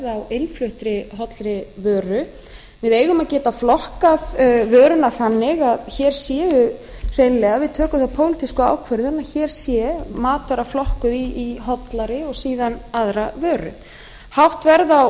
innfluttri hollri voru við eigum að geta flokkað vöruna þannig að hér séu hreinlega ef við tökum þá pólitísku ákvörðun að hér sé matvara flokkuð í hollari og síðan aðra vöru hátt verð á